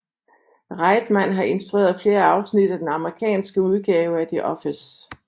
Reitman har instrueret flere afsnit af den amerikanske udgave af The Office